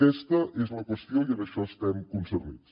aquesta és la qüestió i en això estem concernits